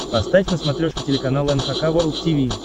поставь на смотрешке телеканал эн эйч кей волд ти ви